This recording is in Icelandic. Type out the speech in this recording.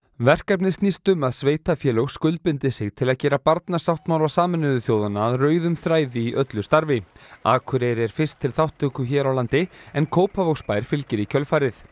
verkefnið snýst um að sveitarfélög skuldbindi sig til að gera Barnasáttmála Sameinuðu þjóðanna að rauðum þræði í öllu starfi Akureyri er fyrst til þátttöku hér á landi en Kópavogsbær fylgir í kjölfarið